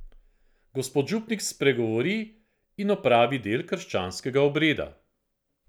Gospod župnik spregovori in opravi del krščanskega obreda.